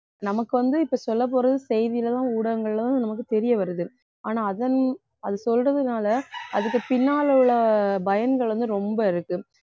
நமக்கு வந்து இப்ப சொல்லப் போறது செய்தியிலதான் ஊடகங்களும் நமக்கு தெரிய வருது ஆனால் அதன்~ அது சொல்றதுனால அதுக்கு பின்னால உள்ள பயன்கள் வந்து ரொம்ப இருக்கு